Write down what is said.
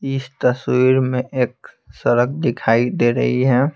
इस तस्वीर में एक सड़क दिखाई दे रही है।